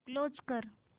close कर